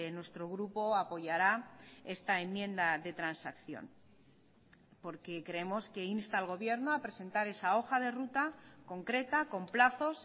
nuestro grupo apoyará esta enmienda de transacción porque creemos que insta al gobierno a presentar esa hoja de ruta concreta con plazos